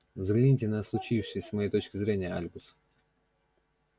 взгляните на случившееся с моей точки зрения альбус